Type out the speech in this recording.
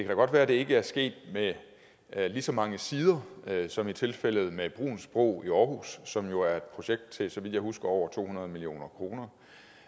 da godt være det ikke er sket med lige så mange sider som i tilfældet med bruuns bro i aarhus som jo er et projekt til så vidt jeg husker over to hundrede million kroner